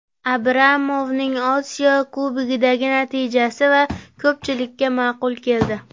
Abramovning Osiyo Kubogidagi natijasi esa ko‘pchilikka ma’qul keldi.